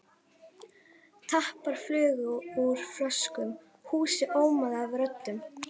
Tappar flugu úr flöskum, húsið ómaði af röddum.